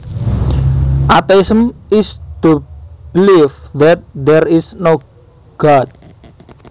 Atheism is the belief that there is no God